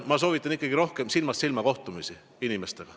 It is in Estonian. Ma soovitan ikkagi rohkem silmast silma kohtumisi inimestega.